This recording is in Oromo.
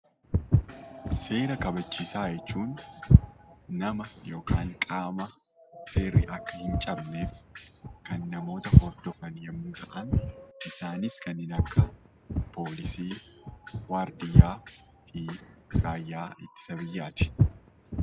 Seera kabachiisaa jechuun nama yookaan qaama seerri akka hin cabneef kan namoota hordofan yommuu ta'an, isaanis kanneen akka poolisii, waardiyyaa fi raayyaa ittisa biyyaa ti.